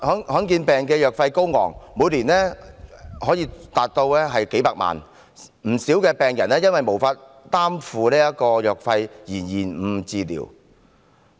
罕見疾病的藥費高昂，每年可達數百萬元，不少病人因為無法負擔藥費而延誤治療。